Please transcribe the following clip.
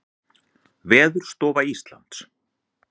Veðurstofa Íslands.